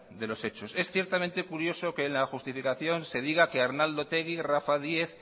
de los hechos es ciertamente curioso que en la justificación se diga que arnaldo otegi rafa díez